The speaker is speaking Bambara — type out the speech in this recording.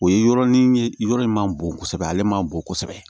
O ye yɔrɔnin ye yɔrɔ in ma bon kosɛbɛ ale ma bon kosɛbɛ